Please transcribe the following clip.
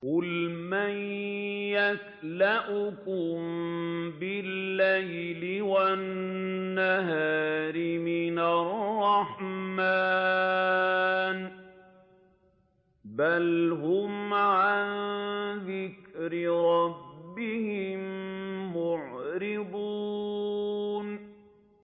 قُلْ مَن يَكْلَؤُكُم بِاللَّيْلِ وَالنَّهَارِ مِنَ الرَّحْمَٰنِ ۗ بَلْ هُمْ عَن ذِكْرِ رَبِّهِم مُّعْرِضُونَ